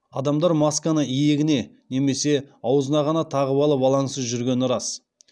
адамдар масканы иегіне немесе аузына ғана тағып алып алаңсыз жүргені рас